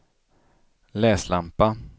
läslampa